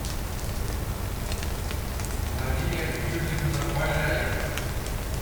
мария юрьевна баляева